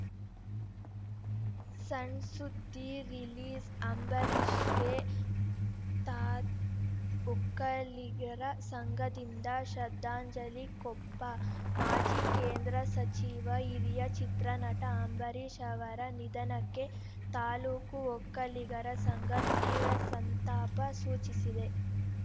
ಸಣ್‌ಸುದ್ದಿ ರಿಲೀಸ್‌ಅಂಬರೀಷ್‌ಗೆ ತಾಒಕ್ಕಲಿಗರ ಸಂಘದಿಂದ ಶ್ರದ್ಧಾಂಜಲಿ ಕೊಪ್ಪ ಮಾಜಿ ಕೇಂದ್ರ ಸಚಿವ ಹಿರಿಯ ಚಿತ್ರನಟ ಅಂಬರೀಷ್‌ ಅವರ ನಿಧನಕ್ಕೆ ತಾಲೂಕು ಒಕ್ಕಲಿಗರ ಸಂಘ ತೀವ್ರ ಸಂತಾಪ ಸೂಚಿಸಿದೆ